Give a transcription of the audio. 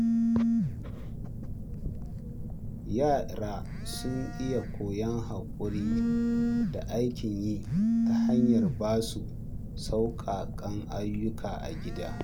Yara suna iya koyon haƙuri da aikin yi ta hanyar ba su sauƙaƙan ayyuka a gida.